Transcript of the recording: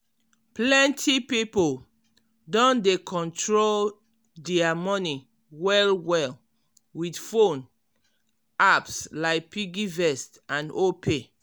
plenty pipo don dey control dia money well-well with phone apps like piggyvest and opay.